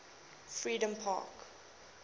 freedompark